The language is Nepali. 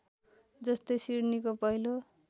जस्तै सिडनीको पहिलो